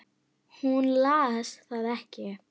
Hún las það ekki.